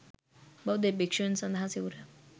බෞද්ධ භික්ෂූන් සඳහා සිවුර